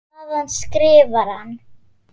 Þaðan skrifar hann